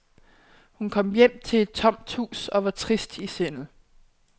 Hun kom hjem til et tomt hus og var trist i sindet.